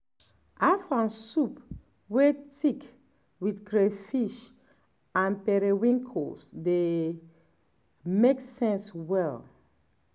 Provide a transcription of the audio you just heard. afang soup wey thick with crayfish and periwinkles dey um make sense well